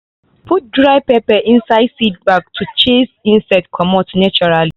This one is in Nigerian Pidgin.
put dry pepper inside the seed bag to chase insects comot naturally.